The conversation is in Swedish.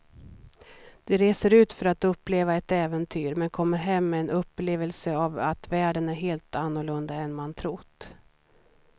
Du reser ut för att uppleva ett äventyr men kommer hem med en upplevelse av att världen är helt annorlunda än man trott.